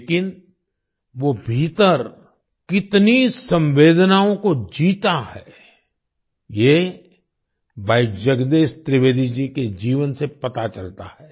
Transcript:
लेकिन वो भीतर कितनी संवेदनाओं को जीता है ये भाई जगदीश त्रिवेदी जी के जीवन से पता चलता है